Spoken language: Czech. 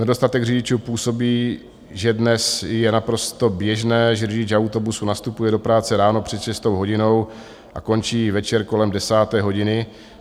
Nedostatek řidičů působí, že dnes je naprosto běžné, že řidič autobusu nastupuje do práce ráno před šestou hodinou a končí večer kolem desáté hodiny.